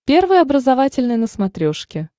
первый образовательный на смотрешке